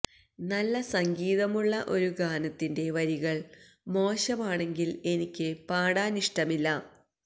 നല്ല സംഗീതമുള്ള ഒരു ഗാനത്തിന്റെ വരികള് മോശമാണെങ്കില് എനിക്ക് പാടാനിഷ്ടമില്ല